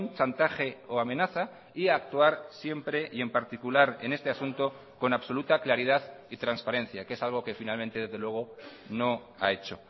chantaje o amenaza y actuar siempre y en particular en este asunto con absoluta claridad y transparencia que es algo que finalmente desde luego no ha hecho